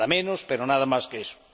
Nada menos, pero nada más que eso.